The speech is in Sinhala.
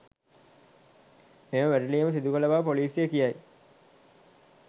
මෙම වැටලීම සිදුකළ බව ‍පොලිසිය කියයි